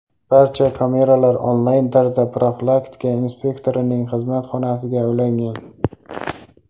Barcha kameralar onlayn tarzda profilaktika inspektorining xizmat xonasiga ulangan.